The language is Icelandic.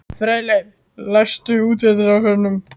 Freyleif, læstu útidyrunum.